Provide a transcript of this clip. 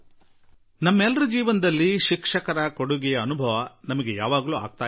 ನಮ್ಮೆಲ್ಲರ ಜೀವನದಲ್ಲಿ ಶಿಕ್ಷಕರ ಕೊಡುಗೆ ಸದಾಕಾಲ ಅನುಭವಕ್ಕೆ ಬರುತ್ತದೆ